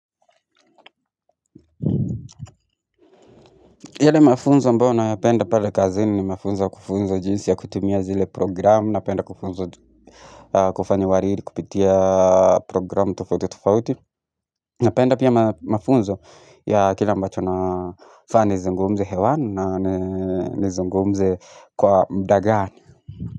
Yale mafunzo ambao nayapenda pale kazini ni mafunzo kufunzo jinsi ya kutumia zile programu, napenda kufunzo kufanya wariri, kupitia programu tufauti tufauti, na penda pia mafunzo ya kila ambacho nafaa nizingumze hewanu na zingumze kwa mdagani.